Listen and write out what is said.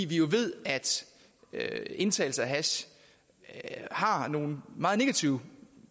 vi ved jo at indtagelse af hash har nogle meget negative